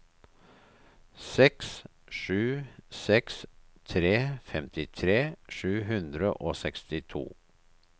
seks sju seks tre femtitre sju hundre og sekstito